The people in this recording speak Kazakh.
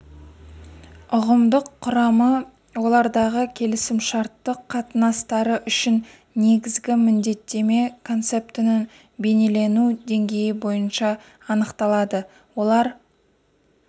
ұғымдық құрамы олардағы келісімшарттық қатынастары үшін негізгі міндеттеме концептінің бейнелену деңгейі бойынша анықталады олар